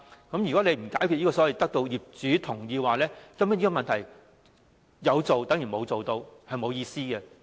不解決"必須得到業主同意"的問題，根本就於事無補，毫無意義。